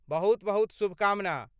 बहुत बहुत शुभकामना।